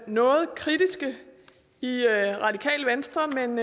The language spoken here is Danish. noget kritiske i radikale venstre men